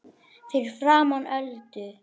Fyrir framan Öldu.